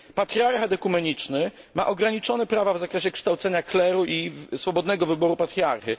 Patriarchat ekumeniczny ma ograniczone prawa w zakresie kształcenia kleru i swobodnego wyboru patriarchy.